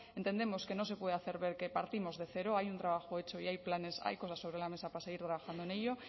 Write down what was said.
entendemos que no se puede hacer ver que partimos de cero hay un trabajo hecho y hay planes hay cosas sobre la mesa para seguir trabajando en ello